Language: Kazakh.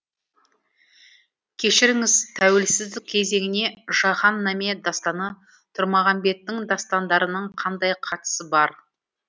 кешіріңіз тәуелсіздік кезеңіне жаһан наме дастаны тұрмағамбеттің дастандарының қандай қатысы бар